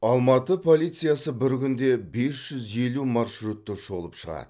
алматы полициясы бір күнде бес жүз елу маршрутты шолып шығады